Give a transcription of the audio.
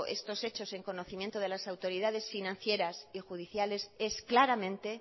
estos hechos en conocimiento de las autoridades financieras y judiciales es claramente